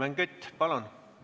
Helmen Kütt, palun!